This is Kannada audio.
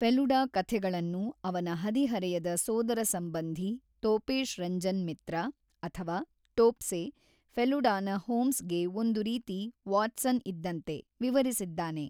ಫೆಲುಡಾ ಕಥೆಗಳನ್ನು ಅವನ ಹದಿಹರೆಯದ ಸೋದರಸಂಬಂಧಿ ತೋಪೇಶ್ ರಂಜನ್ ಮಿತ್ರ ಅಥವಾ ಟೋಪ್ಸೆ, ಫೆಲುಡಾನ ಹೋಮ್ಸ್‌ಗೆ ಒಂದು ರೀತಿ ವಾಟ್ಸನ್ ಇದ್ದಂತೆ, ವಿವರಿಸಿದ್ದಾನೆ.